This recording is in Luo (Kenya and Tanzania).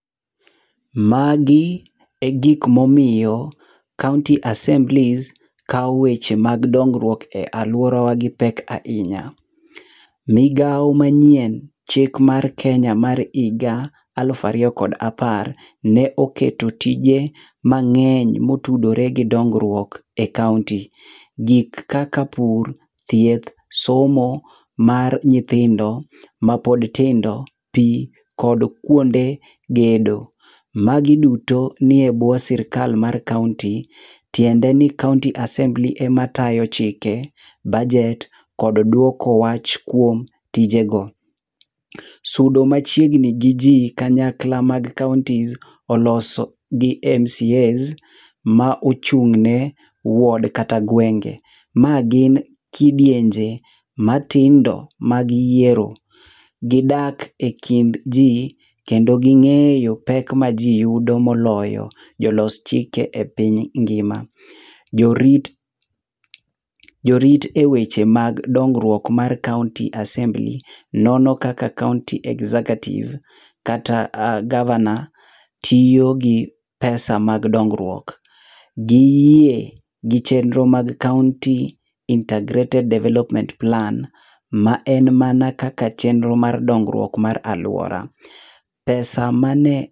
Magi e gik momiyo kaonti asemblis kao weche mag dongruok e aluorawa gi pek ahinya. Migao manyien, chik mar Kenya mar higa alufu ariyo kod apar, ne oketo tije mang'eny motudore gi dongruok e kaonti. Gik kaka pur, thieth, somo mar nyithindo mapod tindo, pi kod kuonde gedo. Magi duto nie bwo sirkal mar kaonti. Tiende ni kaonti asembli ema tayo chike, baget kod dwoko wach kuom tijego. Sudo machiegni gi ji kanyakla mag kaonti oloso gi MCAs ma ochung' ne ward kata gwenge. Ma gin kidienje matindo mag yiero, gi dak ekind ji kendo gi ng'eyo pek maji yudo moloyo jolos chike e piny ngima. Jorit , jorit eweche mag dongruok mar kaonti asembli nono kaka kaonti executive kata gavana tiyo gi pesa mag dongruok. Giyie gi chenro mag kaonti intergrated Development Plan ma en mana kaka chenro mar dongruok mar aluora.